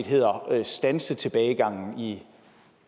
hedder at standse tilbagegangen i